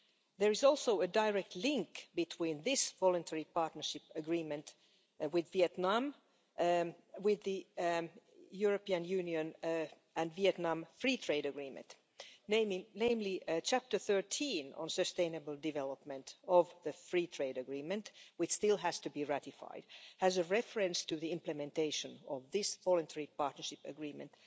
There is also a direct link between this Voluntary Partnership Agreement with Vietnam and the European Union and Vietnam Free Trade Agreement namely, Chapter 13, on sustainable development, of the free trade agreement, which still has to be ratified, has a reference to the implementation of this Voluntary Partnership Agreement.